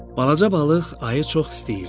Balaca balıq ayı çox istəyirdi.